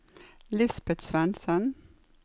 Lisbet Svensen